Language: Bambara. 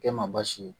Kɛ ma baasi ye